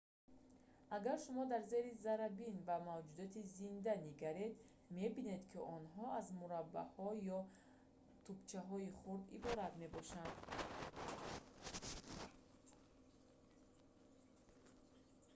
агар шумо дар зери заррабин ба мавҷудоти зинда нигаред мебинед ки онҳо аз мураббаҳо ё тӯбчаҳои хурд иборат мебошанд